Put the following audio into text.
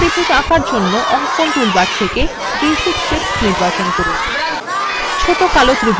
একটি ত্রিভুজ আঁকার জন্য অঙ্কন toolbar থেকে basic shapes নির্বাচন করুন